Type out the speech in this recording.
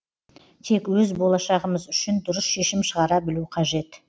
тек өз болашағымыз үшін дұрыс шешім шығара білу қажет